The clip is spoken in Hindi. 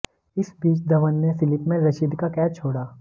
इस बीच धवन ने स्लिप में रशीद का कैच छोड़ा